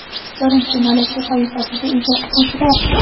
birinchi malaka toifasiga ega o‘qituvchilar;.